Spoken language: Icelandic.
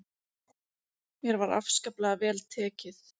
Mér var afskaplega vel tekið.